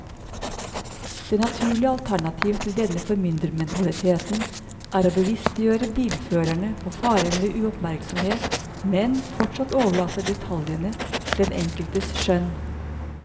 Det naturlige alternativ til denne formyndermentaliteten er å bevisstgjøre bilførerne på farene ved uoppmerksomhet, men fortsatt overlate detaljene til den enkeltes skjønn.